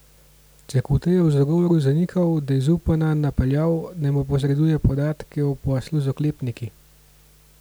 Cekuta je v zagovoru zanikal, da je Zupana napeljal, naj mu posreduje podatke o poslu z oklepniki.